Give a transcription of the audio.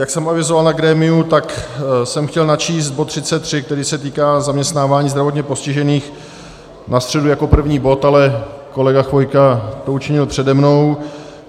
Jak jsem avizoval na grémiu, tak jsem chtěl načíst bod 33, který se týká zaměstnávání zdravotně postižených, na středu jako první bod, ale kolega Chvojka to učinil přede mnou.